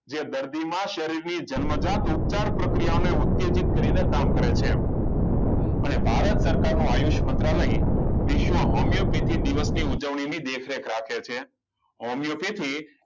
જે દર્દીમાં શરીરની જન્મજાત ઉપચાર પ્રક્રિયાને ઉત્તેજિત કરીને કામ કરે છે અને ભારત સરકારનો આયુષ્ય મંત્રાલય વિશ્વ હોમિયોપેથીક દિવસની ઉજવણી ની દેખરેખ રાખે છે હોમિયોપેથિક